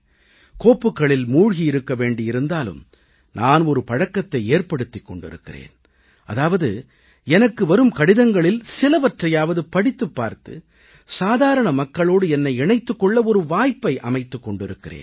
கோப்புகளில் மூழ்கி இருக்க வேண்டி இருந்தாலும் நான் ஒரு பழக்கத்தை ஏற்படுத்திக் கொண்டிருக்கிறேன் அதாவது எனக்கு வரும் கடிதங்களில் சிலவற்றையாவது படித்துப் பார்த்து சாதாரண மக்களோடு என்னை இணைத்துக் கொள்ள ஒரு வாய்ப்பை அமைத்துக் கொண்டிருக்கிறேன்